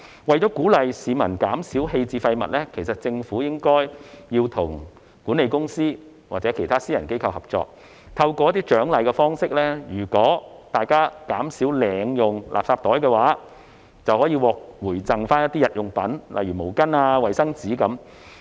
為了鼓勵市民減少棄置廢物，政府其實應該與管理公司或其他私人機構合作，採用獎勵方式，如果大家減少領用垃圾袋，便可獲回贈日用品，例如毛巾和衞生紙。